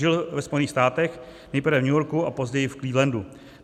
Žil ve Spojených státech, nejprve v New Yorku a později v Clevelandu.